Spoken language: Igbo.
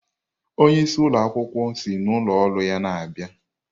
Onye isi ụlọ akwukwuo si n'ụlọ ọrụ ya na-abịa.